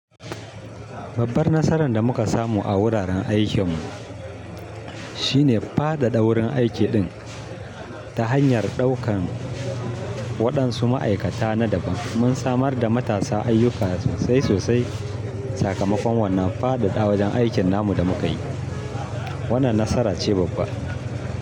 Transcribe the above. Babbar nasaran da muka samu a wuraren aikinmu shine faɗaɗa wurin aiki ɗin ta hanyar ɗaukan waɗansu ma'aikata na daban. Mun samar da matasa ayyuka sosai sosai. Sakamakon wannan faɗaɗa wajen aikin namu da muka yi, wannan nasara ce babba.